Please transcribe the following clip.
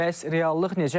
Bəs reallıq necədir?